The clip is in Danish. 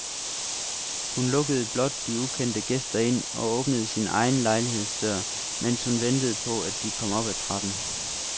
Hun lukkede blot de ukendte gæster ind og åbnede sin egen lejlighedsdør, mens hun ventede på, at de kom op ad trappen.